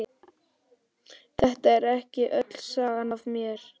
Þetta er ekki öll sagan af mér.